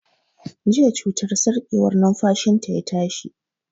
Jiya cutar sarƙewar numfashi ta ya tashi